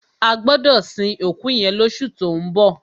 A gbọdọ sin òkú yẹn lọṣu tó ń bọ̀.